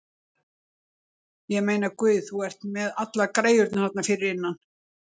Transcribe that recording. Ég meina, Guð, þú ert með allar græjurnar þarna fyrir innan.